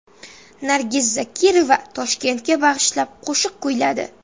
Nargiz Zokirova Toshkentga bag‘ishlab qo‘shiq kuyladi .